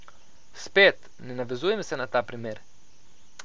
Spet, ne navezujem se na ta primer.